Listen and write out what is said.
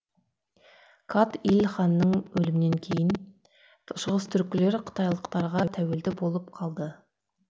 кат иль ханның өлімінен кейін шығыстүркілер қытайлықтарға тәуелді болып қалды